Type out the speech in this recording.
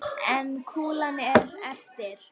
En kúlan er eftir.